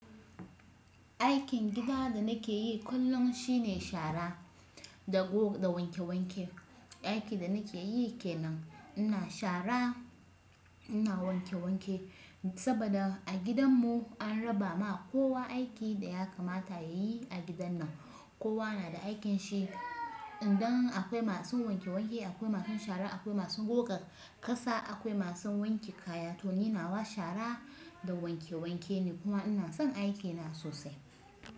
Aikin gida da nake yi kullum shine shara da goga da wanke wanke, aiki da nake yi kenan. Ina shara, ina wanke wanke saboda a gidanmu an raba ma kowa aiki da ya kamata ya yi a gidan nan. Kowa na da aikinshi idan akwai masu wanke wanke akwai masu shara akwai masu goga kasa akwai masu wanke kaya to ni nawa shara da wanke wanke ne kuma ina son aikina sosai.